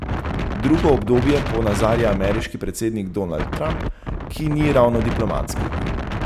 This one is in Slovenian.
Drugo obdobje ponazarja ameriški predsednik Donald Trump, ki ni ravno diplomatski.